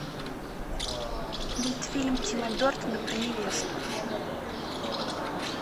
мультфильм тима бертона про невесту